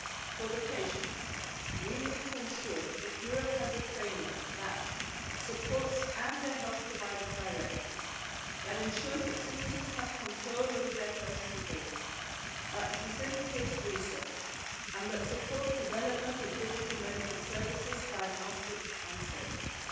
For the patients, we need to ensure that Europe has a framework that supports them and their health providers directly, ensures that citizens have control over their personal data, facilitates research and supports the development of digital medical services, diagnostics and services.